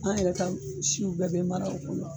An yɛrɛ ka siw bɛɛ bɛ mara o kɔnɔ